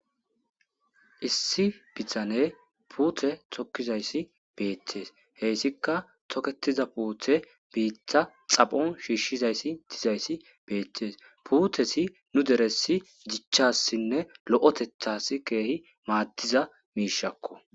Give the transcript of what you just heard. issi bithane puute tokkizayssi beettes heessika toketiza puuthe biittha xaphon shiishshizayssi dizayssi beettes puutesi nu deressi gichchassinne lo7etethas keehi maaddiza miishakko